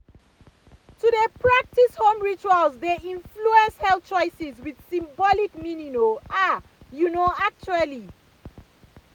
to dey practice home rituals dey influence health choices with symbolic meaning ah you know actually.